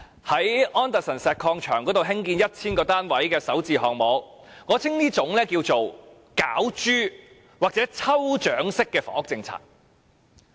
在安達臣石礦場興建 1,000 個單位的首置項目，我稱之為"攪珠"或抽獎式的房屋政策。